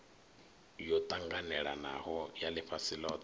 yo ṱanganelanaho ya ḽifhasi ḽothe